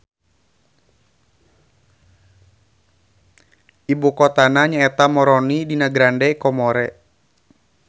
Ibu kotana nya eta Moroni dina Grande Comore.